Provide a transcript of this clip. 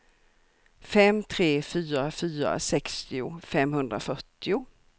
fem tre fyra fyra sextio femhundrafyrtio